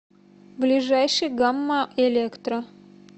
ближайший гамма электро